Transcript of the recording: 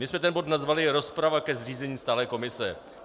My jsme ten bod nazvali rozprava ke zřízení stálé komise.